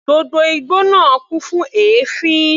Gbogbo igbó náà kún fún èéfín.